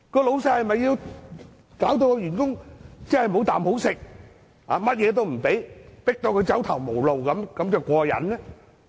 老闆是否要搞到員工"無啖好食"，甚麼也不給他，迫到他走投無路才"過癮"呢？